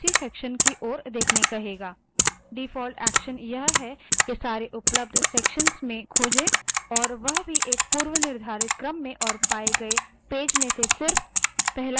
default action यह है कि सारे उपलब्ध sections में खोजे और वह भी एक पूर्वनिर्धारित क्रम में और पाए गए पेज में से search पहला पेज दिखाए भले ही वह पेज कई sections में मौजूद है